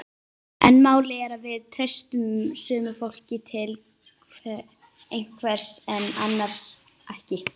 En málið er að við treystum sumu fólki til einhvers en annars ekki.